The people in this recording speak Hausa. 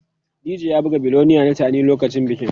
DJ ya buga 'Billionaire' na Teni lokacin bikin.